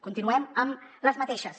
continuem amb les mateixes